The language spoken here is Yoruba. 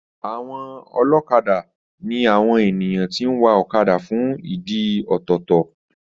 Àwọn ọlọ́kadà ní àwon ènìyàn tí ń wa ọ̀kadà fún ìdí ọ̀tọ̀ọ̀tọ̀